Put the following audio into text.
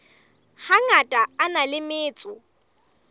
hangata a na le metso